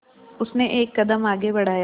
उसने एक कदम आगे बढ़ाया